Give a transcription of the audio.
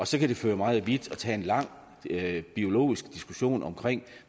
så kan det føre meget vidt at tage en lang biologisk diskussion om